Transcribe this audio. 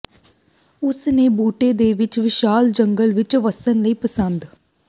ਉਸ ਨੇ ਬੂਟੇ ਦੇ ਵਿੱਚ ਵਿਸ਼ਾਲ ਜੰਗਲ ਵਿਚ ਵੱਸਣ ਲਈ ਪਸੰਦ